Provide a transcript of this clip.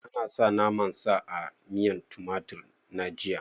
A nasa naman sa a miyan tumatir na jiya